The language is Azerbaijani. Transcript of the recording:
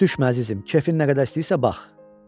Düş əzizim, kefin nə qədər istəyirsə bax.